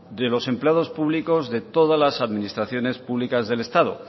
de los empleados públicos de todas las administraciones públicas del estado